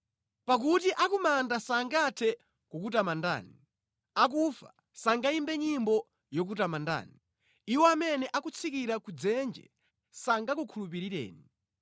Pakuti akumanda sangathe kukutamandani, akufa sangayimbe nyimbo yokutamandani. Iwo amene akutsikira ku dzenje sangakukhulupirireni.